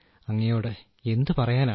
അങ്ങയോട് എന്തു പറയാനാണ്